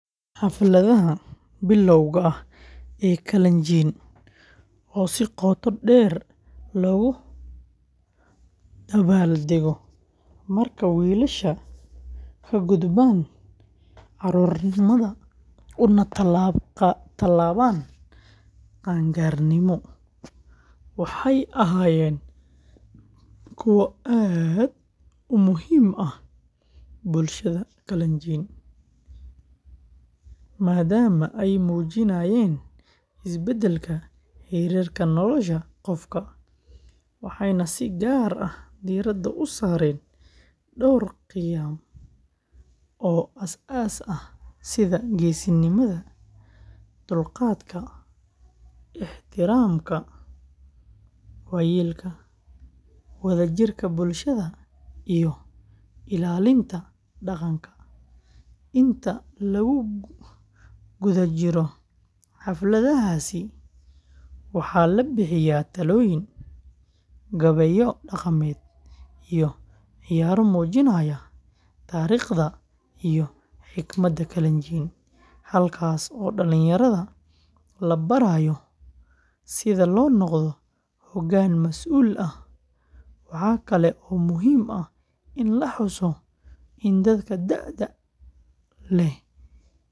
Xafladaha bilowga ah ee Kalenjin, oo si qotodheer loogu dabaaldego marka wiilashu ka gudbaan carruurnimada una tallaabaan qaan-gaarnimo, waxay ahaayeen kuwo aad u muhiim u ah bulshada Kalenjin, maadaama ay muujinayeen isbeddelka heerka nolosha qofka, waxayna si gaar ah diiradda u saareen dhowr qiyam oo asaas ah sida geesinimada, dulqaadka, ixtiraamka waayeelka, wadajirka bulshada, iyo ilaalinta dhaqanka. Inta lagu jiro xafladahaasi, waxaa la bixiyaa talooyin, gabayo dhaqameed, iyo ciyaaro muujinaya taariikhda iyo xigmadda Kalenjin, halkaas oo dhalinyarada la barayo sida loo noqdo hoggaan masuul ah. Waxa kale oo muhiim ah in la xuso in dadka da'da leh ee bulshada.